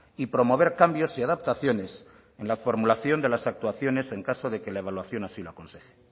y promover cambios y adaptaciones en la formulación de las actuaciones en caso de que la evaluación así lo aconseje